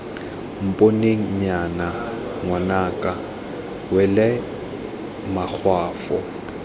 mponeng nnyaya ngwanaka wela makgwafo